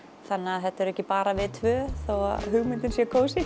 þannig að þetta erum ekki bara við tvö þó hugmyndin sé kósí